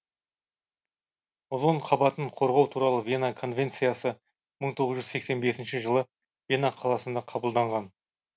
озон қабатын қорғау туралы вена конвенциясы мың тоғыз жүз сексен бесінші жылы вена қаласында қабылданған